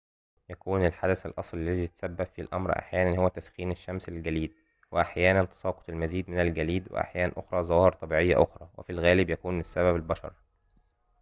يكون الحدث الأصلي الذي يتسبب في الأمر أحيانًا هو تسخين الشمس للجليد وأحيانًا تساقط المزيد من الجليد وأحيان أخرى ظواهر طبيعية أخرى وفي الغالب يكون السبب البشر